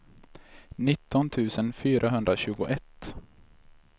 nitton tusen fyrahundratjugoett